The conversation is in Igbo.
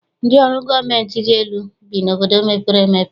Ndị ọrụ gọọmentị dị elu bi n'obodo mepere emepe.